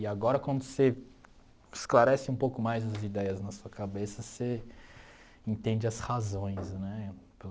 E agora quando você esclarece um pouco mais as ideias na sua cabeça, você entende as razões, né?